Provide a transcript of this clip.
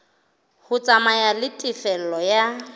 ho tsamaya le tefello ya